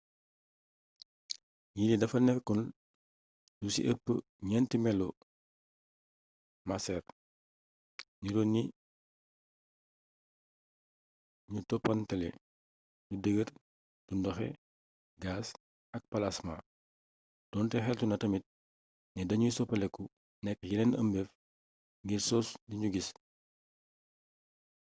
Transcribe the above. yillee dafa nekkoon lu ci ëpp ñeenti melo maceer niroo ni ñu toppalantee: lu dëgër lu ndoxe gaas ak palasmaa doonte xeltu na tamit ne dañuy soppeeku nekk yeneen ëmbeef ngir sos li nu gis